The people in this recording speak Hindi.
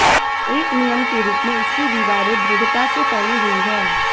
एक नियम के रूप में इसकी दीवारें दृढ़ता से फैली हुई हैं